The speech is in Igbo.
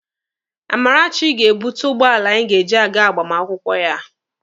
Amarachi ga-ebute ụgbọala anyị ji aga agbamakwụkwọ ya.